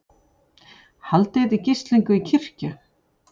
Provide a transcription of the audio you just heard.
Haldið í gíslingu í kirkju